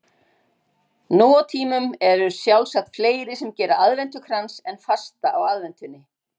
Nú á tímum eru sjálfsagt fleiri sem gera aðventukrans en fasta á aðventunni.